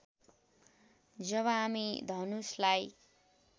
जब हामी धनुषलाई